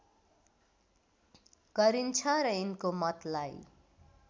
गरिन्छ र यिनको मतलाई